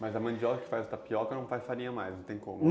Mas a mandioca que faz tapioca não faz farinha mais, não tem como.